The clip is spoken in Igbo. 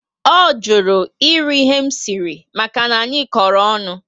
O jụrụ eri ihe m siri maka na anyị koro ọṅụ